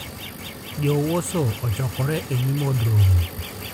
Jo-Warsaw ochokore e nyim Od Romo.